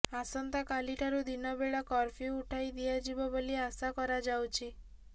ଆସନ୍ତାକାଲି ଠାରୁ ଦିନବେଳା କର୍ଫୁ୍ୟ ଉଠାଇ ଦିଆଯିବ ବୋଲି ଆଶା କରାଯାଉଛି